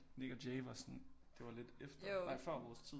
Nik og Jay var sådan det var lidt efter nej før vores tid